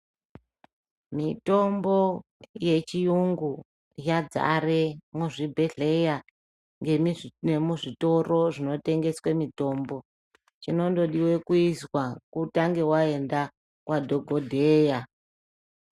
Mitombo yechiyungu yadzare muzvibhedhleya ngemizvi nemuzvitoro zvinotengeswe mutombo chinondodiwe kuizwa kutange waenda kwadhogodheya.